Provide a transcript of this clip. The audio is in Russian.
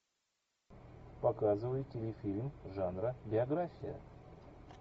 показывай телефильм жанра биография